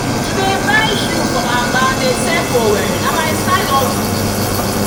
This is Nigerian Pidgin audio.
to dey buy shoe from aba dey sell for owerri na my side hustle.